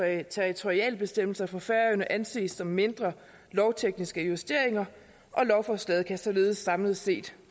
af territorialbestemmelser for færøerne anses som mindre lovtekniske justeringer og lovforslaget kan således samlet set